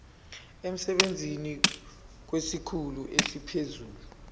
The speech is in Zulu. emsebenzini kwesikhulu esiphezulu